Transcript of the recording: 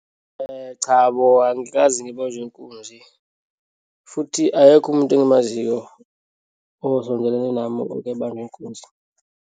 Cha bo, angikaze ngibanjwe inkunzi futhi akekho umuntu engimaziyo osondelene nami okebanjwa inkunzi.